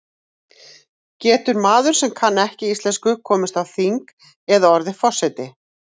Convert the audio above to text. Getur maður sem kann ekki íslensku komist á þing eða orðið forseti?